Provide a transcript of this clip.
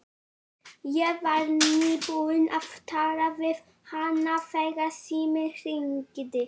Ég var nýbúin að tala við hann þegar síminn hringdi.